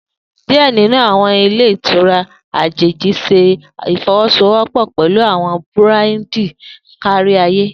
Diẹ ninu awọn ilè ìtura ajeji ṣe ifọwọsowọpọ pẹlu awọn burandi kariaye.